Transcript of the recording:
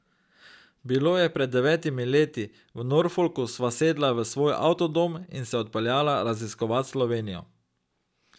Bilo je pred devetimi leti, v Norfolku sva sedla v svoj avtodom in se odpeljala raziskovat Slovenijo.